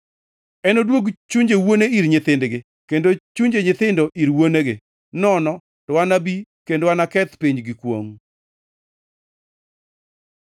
Enoduog chunje wuone ir nyithindgi, kendo chunje nyithindo ir wuonegi; nono to anabi kendo aketh piny gi kwongʼ!”